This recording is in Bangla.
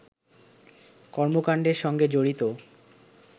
কর্মকাণ্ডের সঙ্গে জড়িত